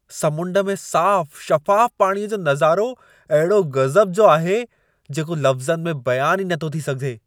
समुंड में साफ़ु शफ़ाफ़ पाणीअ जो नज़ारो अहिड़ो गज़ब जो आहे, जेको लफ़्ज़नि में बयानु ई न थो थी सघे!